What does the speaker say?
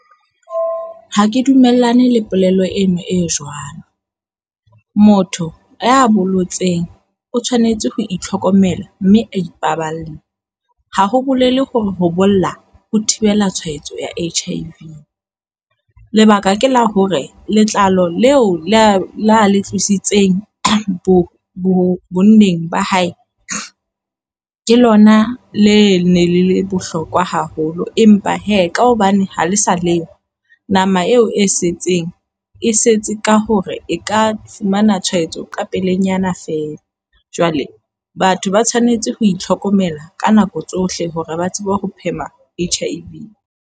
Ha ke dumellane le polelo eno e jwalo. Motho ya bolotseng o tshwanetse ho itlhokomela mme a ipaballe. Ha ho bolele hore ho bolla ho thibela tshwaetso ya H-I-V. Lebaka ke la hore letlalo leo le a lo le tlositsweng bo bo bonneng ba hae. Ke lona le ne le le bohlokwa haholo empa hee ka hobane ha le sa leyo nama eo e setseng e setse ka hore e ka fumana tshwaetso ka pelenyana feela. Jwale batho ba tshwanetse ho itlhokomela ka nako tsohle hore ba tsebe ho phema H-I-V.